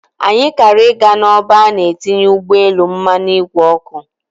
Anyị kara ị ga n'ọba a na-etinye ụgbọelu mmanụ ìgwè oku.